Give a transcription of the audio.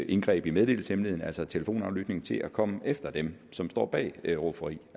indgreb i meddelelseshemmeligheden altså telefonaflytning til at komme efter dem som står bag rufferi